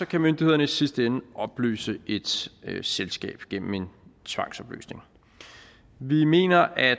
kan myndighederne i sidste ende opløse et selskab gennem en tvangsopløsning vi mener at